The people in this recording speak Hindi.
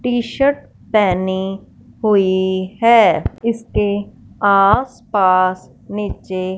टी शर्ट पहनी हुई है इसके आसपास नीचे--